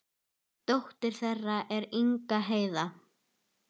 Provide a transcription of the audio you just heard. Dóttir þeirra er Inga Heiða.